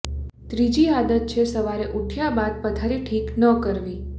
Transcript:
ત્રીજી આદત છે સવારે ઉઠ્યા બાદ પથારી ઠીક ન કરવી